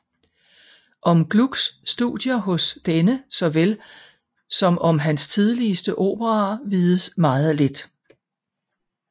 Om Glucks studier hos denne såvel som om hans tidligste operaer vides meget lidt